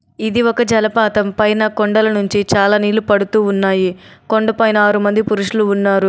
ఇది ఒక జలపాతం. పైన కొండల నుంచి చాలా నీళ్లు పడుతూ ఉన్నాయి. కొండపైన ఆరు మంది పురుషులు ఉన్నారు.